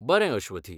बरें, अश्वथी.